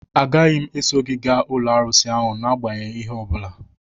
Agaghị m eso gị gaa n'ụlọ arụsị ahụ n'agbanyeghị ihe ọ bụla